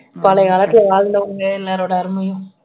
பழைய காலத்துல வாழ்ந்தவங்க எல்லாரோட அருமையும்